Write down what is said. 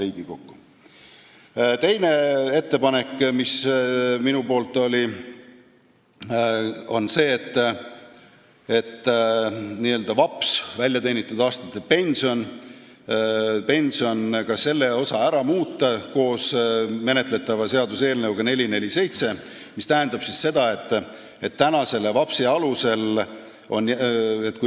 Teine minu ettepanek on see, et koos eelnõuga 447 muuta ka n-ö VAPS-i ehk väljateenitud aastate pensioni seaduse sätteid.